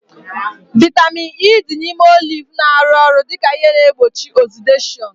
Vaitamin E dị n'ime oliv na-arụ ọrụ dịka ihe na-egbochi ọzideshọnu